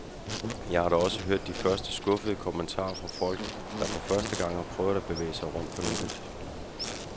Jeg har da også hørt de første skuffede kommentarer fra folk, der for første gang har prøvet at bevæge sig rundt på nettet.